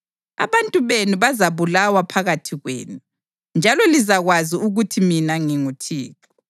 Abantu benu bazabulawa phakathi kwenu, njalo lizakwazi ukuthi mina nginguThixo.